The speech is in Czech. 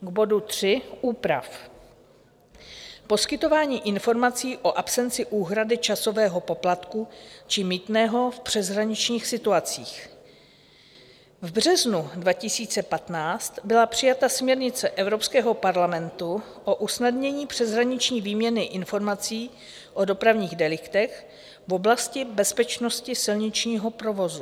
K bodu 3 úprav poskytování informací o absenci úhrady časového poplatku či mýtného v přeshraničních situacích: v březnu 2015 byla přijata směrnice Evropského parlamentu o usnadnění přeshraniční výměny informací o dopravních deliktech v oblasti bezpečnosti silničního provozu.